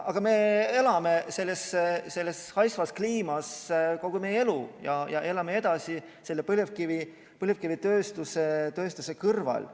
Aga me oleme selles haisvas kliimas elanud kogu elu ja elame edasi põlevkivitööstuse kõrval.